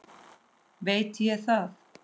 Veit ég það?